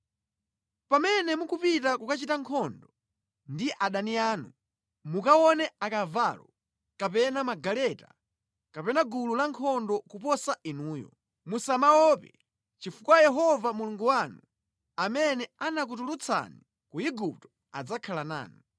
Pamene mukupita kokachita nkhondo ndi adani anu, mukaona akavalo kapena magaleta kapena gulu la ankhondo kuposa inuyo musamaope chifukwa Yehova Mulungu wanu, amene anakutulutsani ku Igupto adzakhala nanu.